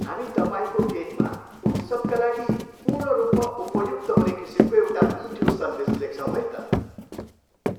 हामी तपाईँको केकमा उत्सवका लागि पूर्ण रूपमा उपयुक्त हुने किसिमको एउटा मिठो सन्देश लेख्छौँ है त।